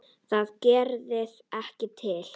Það gerði ekki til.